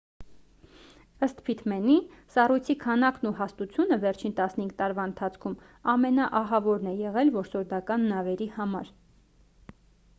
ըստ փիթմենի սառույցի քանակն ու հաստությունը վերջին 15 տարվա ընթացքում ամենաահավորն է եղել որսորդական նավերի համար